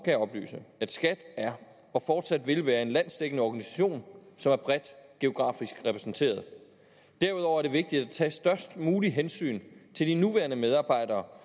jeg oplyse at skat er og fortsat vil være en landsdækkende organisation som er bredt geografisk repræsenteret derudover er det vigtigt at tage størst muligt hensyn til de nuværende medarbejdere